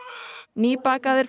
nýbakaðir